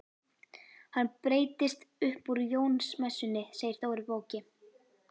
Hann breytist upp úr Jónsmessunni segir Dóri bóki.